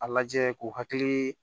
A lajɛ k'u hakili